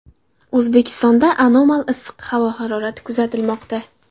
O‘zbekistonda anomal issiq havo harorati kuzatilmoqda.